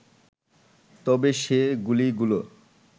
তবে সে গুলিগুলো